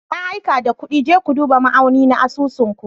Na aika da kuɗin, je ku duba ma'auni na asusun ku.